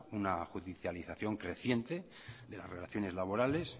una juridiccialización creciente de las relaciones laborales